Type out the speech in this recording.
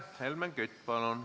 Helmen Kütt, palun!